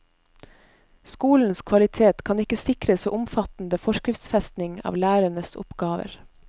Skolens kvalitet kan ikke sikres ved omfattende forskriftsfesting av lærernes oppgaver.